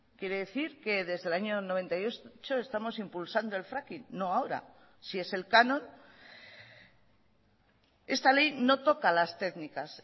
quiere decir que desde el año noventa y ocho estamos impulsando el fracking no ahora si es el canon esta ley no toca las técnicas